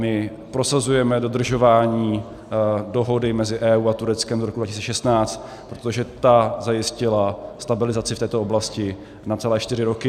My prosazujeme dodržování dohody mezi EU a Tureckem z roku 2016, protože ta zajistila stabilizaci v této oblasti na celé čtyři roky.